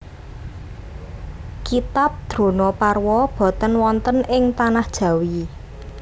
Kitab Dronaparwa boten wonten ing Tanah Jawi